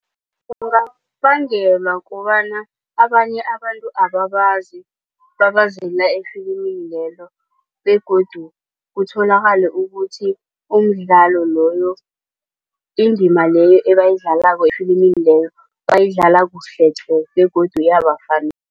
kobana abanye abantu ababazi babazela efilimini lelo begodu kutholakale ukuthi umdlalo loyo. Indima leyo ebayidlalako efilimini leyo bayidlala kuhle tle begodu